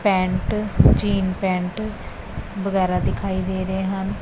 Pant jean pant ਵਗੈਰਾ ਦਿਖਾਈ ਦੇ ਰਹੇ ਹਨ।